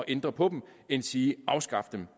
ændre på dem endsige afskaffe dem